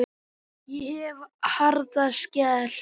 Ég hef harða skel.